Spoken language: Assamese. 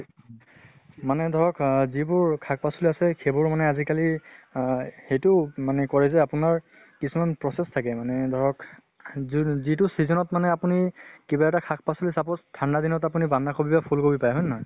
মানে ধৰক আহ যিবোৰ শাক পাচলী আছে সেইবোৰ মানে আজি কালি আহ সেইটো মানে কৰে যে আপোনাৰ কিছুমান process থাকে মানে ধৰক যোন যিটো season ত মানে আপুনি কিবা এটা সাক পাচলী suppose ঠান্দা দিনত আপোনি বান্ধা কবি বা ফুল কবি পায়, হয়নে নহয়?